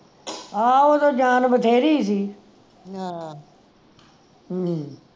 ਆਹੋ ਓਦੋਂ ਜਾਂ ਬਥੇਰੀ ਸੀ ਹਾਂ